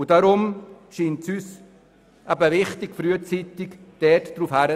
Deshalb scheint es uns wichtig, das Ganze frühzeitig anzugehen.